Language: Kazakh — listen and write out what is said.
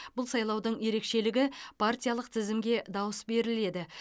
бұл сайлаудың ерекшелігі партиялық тізімге дауыс беріледі